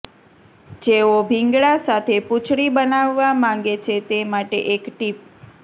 જેઓ ભીંગડા સાથે પૂંછડી બનાવવા માંગે છે તે માટે એક ટિપ